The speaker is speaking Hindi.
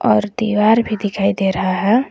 और दीवार भी दिखाई दे रहा है।